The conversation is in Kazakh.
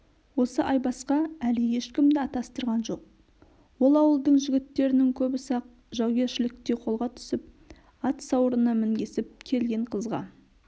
осы айбасқа әлі ешкімді атастырған жоқ ол ауылдың жігіттерінің көбісі-ақ жаугершілікте қолға түсіп ат сауырына мінгесіп келген қызға